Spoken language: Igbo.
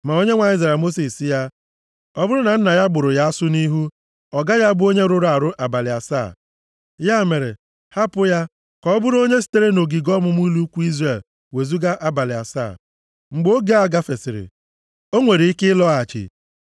Ma Onyenwe anyị zara Mosis sị ya, “Ọ bụrụ na nna ya gbụrụ ya asụ nʼihu, ọ gaghị abụ onye rụrụ arụ abalị asaa? Ya mere, hapụ ya ka ọ bụrụ onye e sitere nʼogige ọmụma ụlọ ikwu Izrel wezuga abalị asaa. Mgbe oge a gafesịrị, o nwere ike ịlọghachi.”